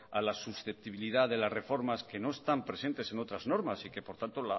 a las susceptibilidad de las reformas que no están presentes en otras normas y que por tanto